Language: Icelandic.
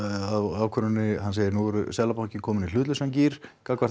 á ákvörðuninni nú eru Seðlabankinn komin í hlutlausan gír gagnvart